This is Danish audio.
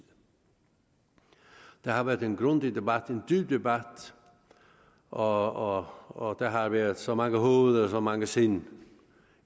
der har været en grundig debat en dyb debat og og der har været så mange hoveder og så mange sind